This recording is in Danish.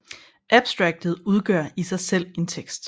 Abstraktet udgør i sig selv en tekst